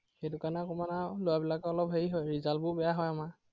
সেইটো কাৰনে অকনমান আৰু লৰাবিলাকৰ অলপ হেৰি হয়, result বোৰ বেয়া হয় আমাৰ।